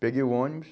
Peguei o ônibus.